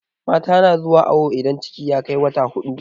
mata na zuwa awo idan ciki ya Kai wata huɗu